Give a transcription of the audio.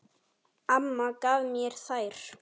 Amma gaf mér þær.